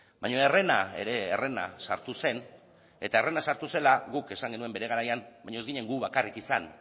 baina herrena ere herrena sartu zen eta herrena sartu zela guk esan genuen bere garaian baina ez ginen gu bakarrik izan